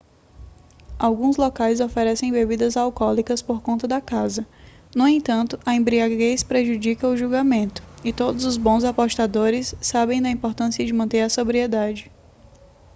alguns locais oferecem bebidas alcoólicas por conta da casa no entanto a embriaguez prejudica o julgamento e todos os bons apostadores sabem da importância de manter a sobriedade